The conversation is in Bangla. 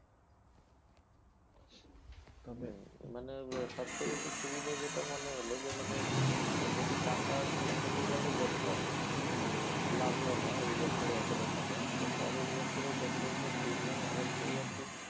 তবে মানে সবচেয়ে বেশি সুবিধা যেটা মনে হল, যে মানে যদি টাকা থেকে গেল দেখলাম যে, লাগল না এই বছরে ওতোটা টাকা, তখন পরের বছরে দেখলাম যে, premium অনেকটাই আর কি